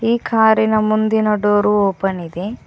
ಈ ಕಾರಿ ನ ಮುಂದಿನ ಡೊರು ಓಪನ್ ಇದೆ.